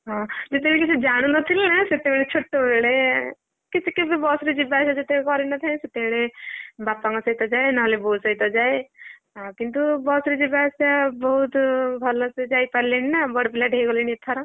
ହଁ ଯେତବେଳେ କି ସେ ଜାଣୁନଥିଲେ ନା ସେତବେଳେ ସେ ଛୋଟବେଳେ କେବେ ବସ ରେ ଯିବା ଆସିବା ଯେତବେଳେ କରି ନ ଥାଏ ସେତବେଳେ ବାପାଙ୍କ ସହିତ ଯାଏ ନହେଲେ ବୋଉ ସହିତ ଯାଏ ହଁକିନ୍ତୁ ବସ ରେ ଯିବା ଆସିବା ବହୁତ୍ ଭଲସେ ଯାଇପାରିଲିଣି ନା ବଡ ପିଲାଟେ ହେଇଗଲିଣି ଏଥର।